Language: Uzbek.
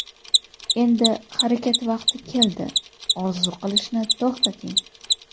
Endi harakat vaqti keldi, orzu qilishni to‘xtating!